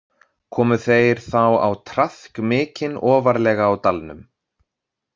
Komu þeir þá á traðk mikinn ofarlega á dalnum.